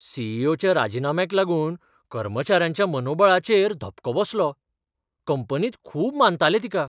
C. E. O. च्या राजिनाम्याक लागून कर्मचाऱ्यांच्या मनोबळाचेर धपको बसलो. कंपनींत खूब मानताले तिका.